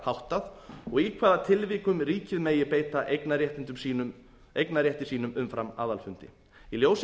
háttað og í hvaða tilvikum ríkið megi beita eigendarétti sínum umfram aðalfundi í ljósi